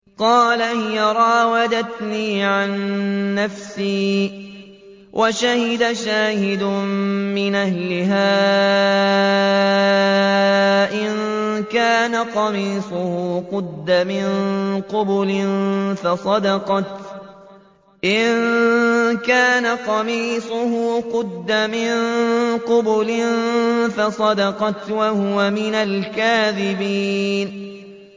قَالَ هِيَ رَاوَدَتْنِي عَن نَّفْسِي ۚ وَشَهِدَ شَاهِدٌ مِّنْ أَهْلِهَا إِن كَانَ قَمِيصُهُ قُدَّ مِن قُبُلٍ فَصَدَقَتْ وَهُوَ مِنَ الْكَاذِبِينَ